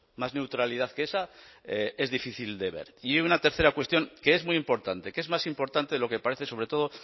más neutralidad que esa es difícil de ver y una tercera cuestión que es muy importante que es más importante de lo que parece sobre todo